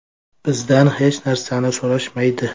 Bizdan hech narsani so‘rashmaydi.